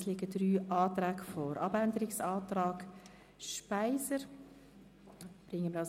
Es liegen drei Anträge beziehungsweise Planungserklärungen vor.